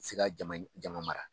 Si ka jama jama mara